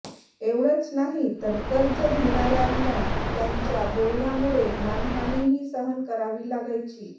एवढंच नाही तर र्कज घेणाऱ्यांना त्यांच्या बोलण्यामुळे मानहानीही सहन करावी लागायची